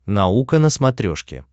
наука на смотрешке